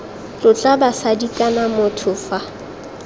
tlotla basadi kana motho fa